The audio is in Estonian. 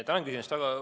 Tänan küsimast!